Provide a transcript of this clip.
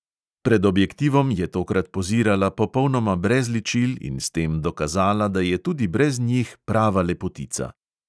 Pred objektivom je tokrat pozirala popolnoma brez ličil in s tem dokazala, da je tudi brez njih prava lepotica.